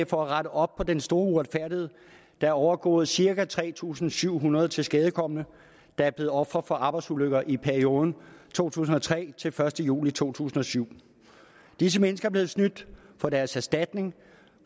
for at rette op på den store uretfærdighed der er overgået cirka tre tusind syv hundrede tilskadekomne der er blevet ofre for arbejdsulykker i perioden to tusind og tre til den første juli to tusind og syv disse mennesker er blevet snydt for deres erstatning